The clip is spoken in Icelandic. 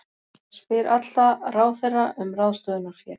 Spyr alla ráðherra um ráðstöfunarfé